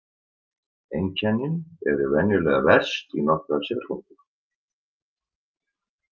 Einkennin eru venjulega verst í nokkrar sekúndur.